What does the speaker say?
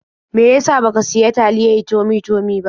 Me ya sa ba ka sayi taliyae Tummy-tummy ba?